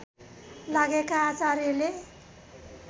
लागेका आचार्यले